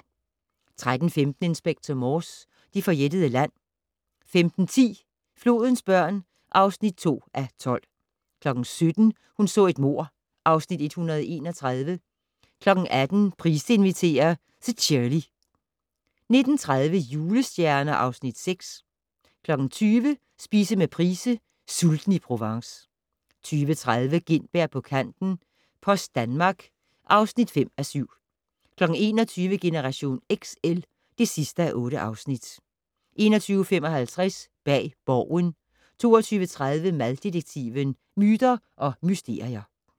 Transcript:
13:15: Inspector Morse: Det forjættede land 15:10: Flodens børn (2:12) 17:00: Hun så et mord (Afs. 131) 18:00: Price inviterer - Szhirley 19:30: Julestjerner (Afs. 6) 20:00: Spise med Price - Sulten i Provence 20:30: Gintberg på kanten - Post Danmark (5:7) 21:00: Generation XL (8:8) 21:55: Bag Borgen 22:30: Mad-detektiven: Myter og mysterier